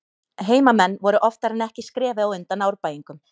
Heimamenn voru oftar en ekki skrefi á undan Árbæingum.